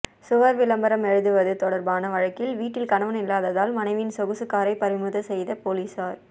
சுவர் விளம்பரம் எழுதுவது தொடர்பான வழக்கில் வீட்டில் கணவன் இல்லாததால் மனைவியின் சொகுசு காரை பறிமுதல் செய்த போலீசார்